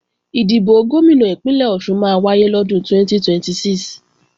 Ìdìbò Gómìnà Ìpínlẹ̀ Ọ̀ṣun máa wáyé lọ́dún 2026